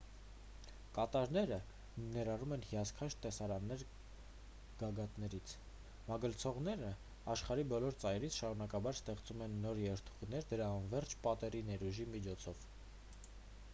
կատարները ներառում են հիասքանչ տեսարաններ գագաթաներից մագլցողներն աշխարհի բոլոր ծայրերից շարունակաբար ստեղծում են նոր երթուղիներ դրա անվերջ պատերի ներուժի միջոցով